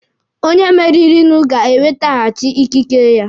Onye meririnụ ga-ewetaghachi ikike ya.